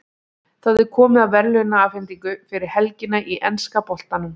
Það er komið að verðlaunaafhendingu fyrir helgina í enska boltanum.